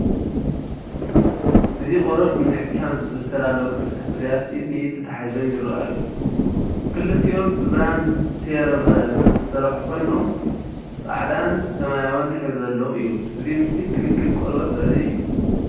እዚ ንቆርበት ንምሕካም ዝተዳለዉ ክልተ ፍርያት ኢድ ንኢድ ተተሓሒዞም ይርኣዩ። ክልቲኦም ብብራንድ ሴራቨ ዝተሰርሑ ኮይኖም፡ ጻዕዳን ሰማያውን ሕብሪ ዘለዎም እዮም። እዚ ምስሊ ክንክን ቆርበት ዘርኢ እዩ።